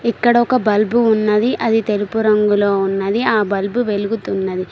ఇక్కడ ఒక బల్బు ఉన్నది అది తెలుపు రంగులో ఉన్నది ఆ బల్బు వెలుగుతున్నది.